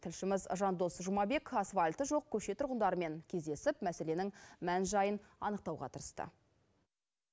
тілшіміз жандос жұмабек асфальты жоқ көше тұрғындарымен кездесіп мәселенің мән жайын анықтауға тырысты